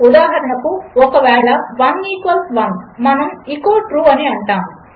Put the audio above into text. ఉదాహరణకు ఒకవేళ 1 ఈక్వల్స్ 1 మనము ఎచో Trueఅనిఅంటాము